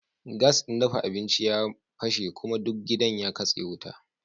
Gas din dafa abinci ya fashe kuma duk gidan ya katse wuta